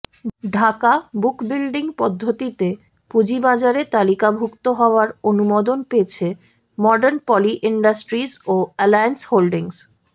Dhaka book building পদ্ধতিতে পুঁজিবাজারে তালিকাভুক্ত হওয়ার অনুমোদন পেয়েছে মর্ডান পলি ইন্ডাস্ট্রিজ ও অ্যালিয়েন্স হোল্ডিংস